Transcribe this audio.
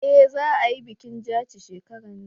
eh za a yi bikin jaci shekaran nan